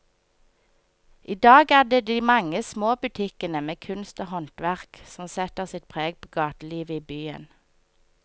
I dag er det de mange små butikkene med kunst og håndverk som setter sitt preg på gatelivet i byen.